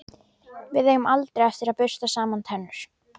Við eigum aldrei eftir að bursta saman tennur.